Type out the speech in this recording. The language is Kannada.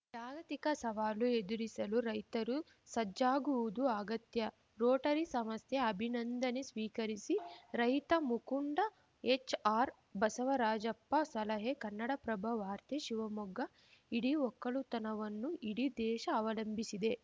ಜಾಗತಿಕ ಸವಾಲು ಎದುರಿಸಲು ರೈತರು ಸಜ್ಜಾಗುವುದು ಅಗತ್ಯ ರೋಟರಿ ಸಮಸ್ಥೆ ಅಭಿನಂದನೆ ಸ್ವೀಕರಿಸಿ ರೈತ ಮುಕುಂಡ ಹೆಚ್‌ಆರ್‌ ಬಸವರಾಜಪ್ಪ ಸಲಹೆ ಕನ್ನಡಪ್ರಭ ವಾರ್ತೆ ಶಿವಮೊಗ್ಗ ಇಡೀ ಒಕ್ಕಲುತನವನ್ನು ಇಡೀ ದೇಶ ಅವಲಂಬಿಸಿದೆ